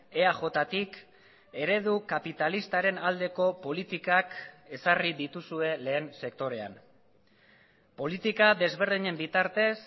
eajtik eredu kapitalistaren aldeko politikak ezarri dituzue lehen sektorean politika desberdinen bitartez